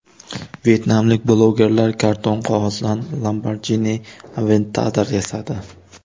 Vyetnamlik blogerlar karton qog‘ozdan Lamborghini Aventador yasadi.